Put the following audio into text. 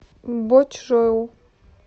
бочжоу